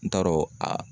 N t'a dɔn a